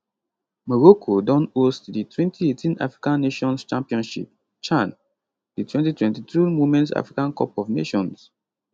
morocco don host di 2018 african nations championship chan di 2022 womens africa cup of nations